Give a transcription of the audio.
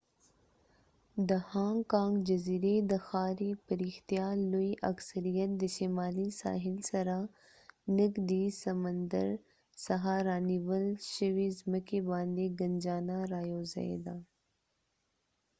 د هانګ کانګ جزیرې د ښاري پراختیا لوی اکثریت د شمالي ساحل سره نږدې سمندر څخه رانیول شوې زمکې باندې ګنجانه رایوځای ده